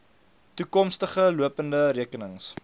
toekomstige lopende rekenings